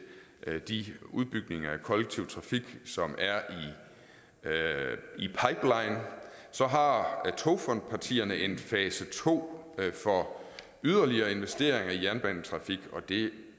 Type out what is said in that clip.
de udbygninger af kollektiv trafik som er i pipeline så har togfondspartierne en fase to for yderligere investeringer i jernbanetrafik og det